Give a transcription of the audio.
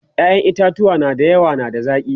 ƴaƴan itatuwa da yawa na da zaki